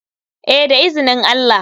Eh da izinin allah.